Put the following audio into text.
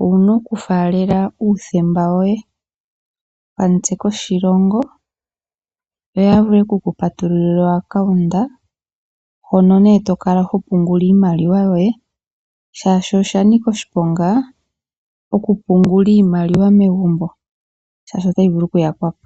owuna okufaalela uuthemba woye, okamutse koshilongo, yo yavule oku kupatulila okambo komapungulilo koye, hoka tokala topungula iimaliwa yoye, shaashi oshanika oshiponga okupungula iimaliwa megumbo, shaashi otayi vulu oku yakwapo.